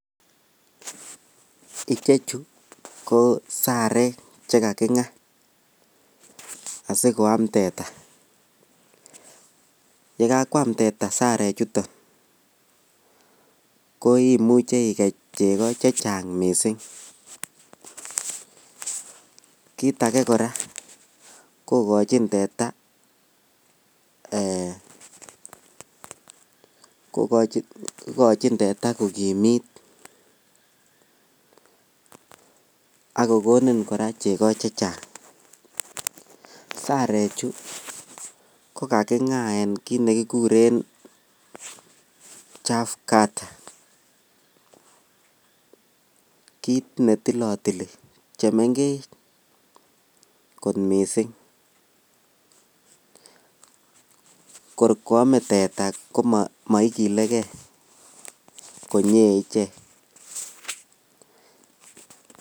Ichechu ko saarek chegaginyaa asigoam teta , yegakwaam teeta sarek chuton koimuche igei chego chechang koot mising, kiit ahee koraa kogochin teeta um eeh um kogimiit ak kogonin koraa chego chechang, saarek chu kogagingaen kiit negiguren chaff cutter kiiit netilotili chemengech koot mising koor kwomee teta komoigilegei konyee ichek.